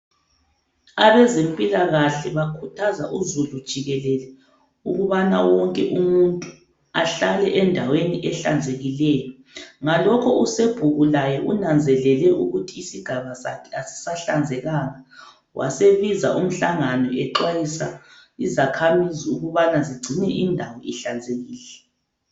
Abezempilakahle bakhuthaza uzulu jikelele ukubana wonke umuntu ahlale endaweni ehlanzekileyo, ngalokhu uSobhuku laye unanzelele ukuthi isigaba sakhe asisahlanzekanga wasebiza umhlangano exwayisa izakhamizi ukubana zigcine indawo ihlanzekile.